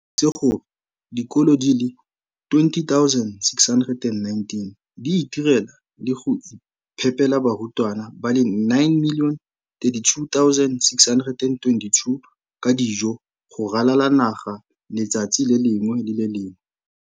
o tlhalositse gore dikolo di le 20 619 di itirela le go iphepela barutwana ba le 9 032 622 ka dijo go ralala naga letsatsi le lengwe le le lengwe.